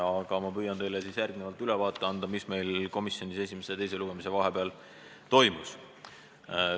Aga ma püüan teile järgnevalt ülevaate anda, mis meil komisjonis esimese ja teise lugemise vahel toimus.